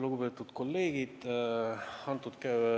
Lugupeetud kolleegid!